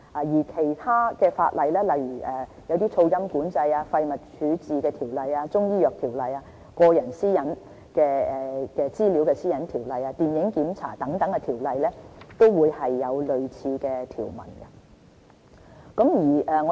而其他法例，例如《噪音管制條例》、《廢物處置條例》、《中醫藥條例》、《個人資料條例》及《電影檢查條例》等，都有有類似條文。